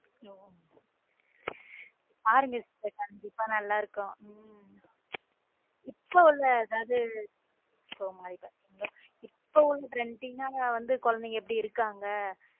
பாருங்க sister கண்டிப்பா நல்லா இருக்கும் உம் இப்ப உள்ள அதாவது இப்போ உள்ள trending ஆனா குழந்தைங்க எப்படி இருக்காங்க.